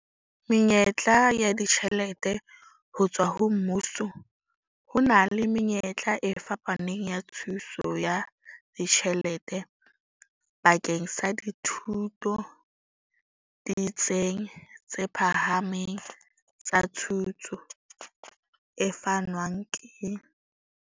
Menyetla ya ditjhelete ho tswa ho mmuso Ho na le menyetla e fapaneng ya thuso ya ditjhelete bakeng sa dithuto ditsing tse phahameng tsa thuto, e fanwang ke.